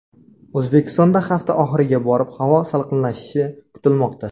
O‘zbekistonda hafta oxiriga borib havo salqinlashishi kutilmoqda.